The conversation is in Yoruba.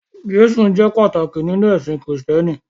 Jésù jẹ́ pàtàkì nínú ẹ̀sìn Kristẹni.